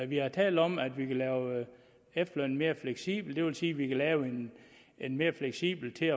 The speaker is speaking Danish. vi har talt om at vi vil lave efterlønnen mere fleksibel og det vil sige at vi vil lave en en mere fleksibel til